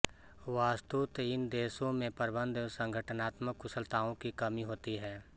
वस्तुत इन देशों में प्रबन्ध व संगठनात्मक कुशलताओं की कमी होती है